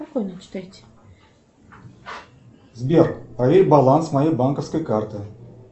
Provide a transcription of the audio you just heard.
сбер проверь баланс моей банковской карты